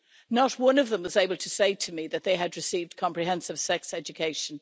Not one of them was able to say to me that they had received comprehensive sex education.